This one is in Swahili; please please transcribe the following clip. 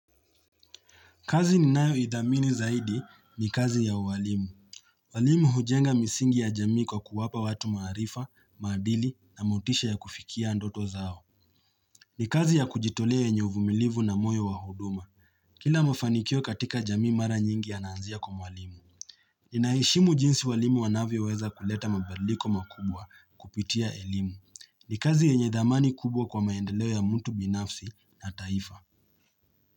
Kazi ni nayoithamini zaidi ni kazi ya uwalimu. Walimu hujenga misingi ya jamii kwa kuwapa watu maarifa, maadili na motisha ya kufikia ndoto zao. Ni kazi ya kujitolea yenye uvumilivu na moyo wa huduma. Kila mafanikio katika jamii mara nyingi yananzia kwa walimu. Ninaheshimu jinsi walimu wanavyo weza kuleta mabaliko makubwa kupitia elimu. Ni kazi yenye dhamani kubwa kwa maendeleo ya mtu binafsi na taifa.